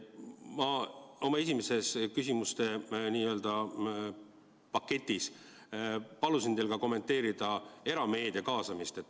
Ma oma esimeses küsimuste n-ö paketis palusin teil kommenteerida ka erameedia kaasamist.